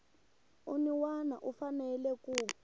un wana u fanele ku